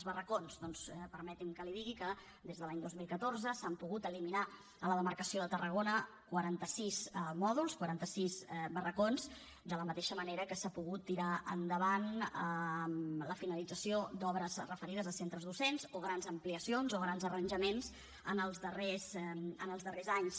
els barracons doncs permeti’m que li digui que des de l’any dos mil catorze s’han pogut eliminar a la demarcació de tarragona quaranta sis mòduls quaranta sis barracons de la mateixa manera que s’ha pogut tirar endavant la finalització d’obres referides a centres docents o grans ampliacions o grans arranjaments en els darrers anys